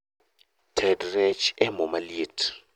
Ted rech e moo maliet